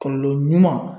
Kɔlɔlɔ ɲuman